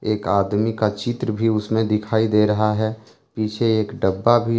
एक आदमी का चित्र भी उसमें दिखाई दे रहा है पीछे एक डब्बा भी--